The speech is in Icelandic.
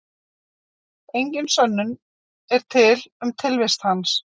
Engin sönnun er til um tilvist hans.